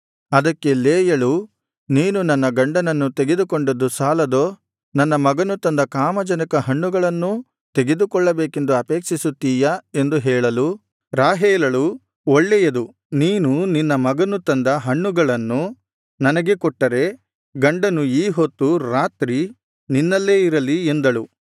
ಅದಕ್ಕೆ ಲೇಯಳು ನೀನು ನನ್ನ ಗಂಡನನ್ನು ತೆಗೆದುಕೊಂಡದ್ದು ಸಾಲದೋ ನನ್ನ ಮಗನು ತಂದ ಕಾಮಜನಕ ಹಣ್ಣುಗಳನ್ನೂ ತೆಗೆದುಕೊಳ್ಳಬೇಕೆಂದು ಅಪೇಕ್ಷಿಸುತ್ತೀಯಾ ಎಂದು ಹೇಳಲು ರಾಹೇಲಳು ಒಳ್ಳೆಯದು ನೀನು ನಿನ್ನ ಮಗನು ತಂದ ಹಣ್ಣುಗಳನ್ನು ನನಗೆ ಕೊಟ್ಟರೆ ಗಂಡನು ಈ ಹೊತ್ತು ರಾತ್ರಿ ನಿನ್ನಲ್ಲೇ ಇರಲಿ ಎಂದಳು